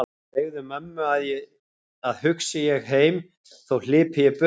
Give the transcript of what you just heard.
Segðu mömmu að hugsi ég heim þó hlypi ég burt öllu frá.